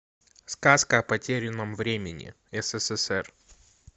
сказка о потерянном времени ссср